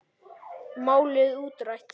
Málið útrætt.